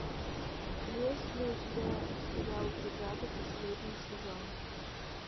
есть ли у тебя сериал бригада последний сезон